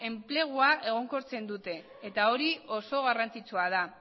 enplegua egonkortzen dute eta hori oso garrantzitsua da